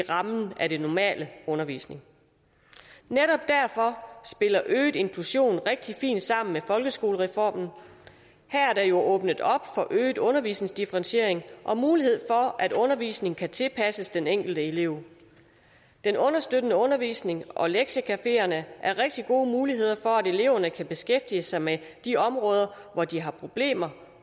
rammen af den normale undervisning netop derfor spiller øget inklusion rigtig fint sammen med folkeskolereformen her er der jo åbnet op for øget undervisningsdifferentiering og mulighed for at undervisningen kan tilpasses den enkelte elev den understøttende undervisning og lektiecafeerne er rigtig gode muligheder for at eleverne kan beskæftige sig med de områder hvor de har problemer